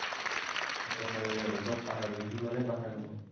সেইটোৱে হয়েই আৰু। সব পাহাৰতে, যিমানেই পাহাৰ নহওঁক।